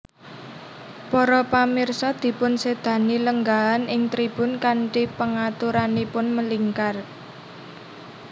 Para pamirsa dipunsedani lenggahan ing tribun kanthi pengaturanipun melingkar